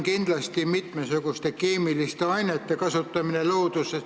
Kindlasti on oluline mitmesuguste keemiliste ainete kasutamine looduses.